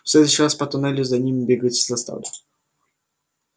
в следующий раз по туннелю за ними бегать заставлю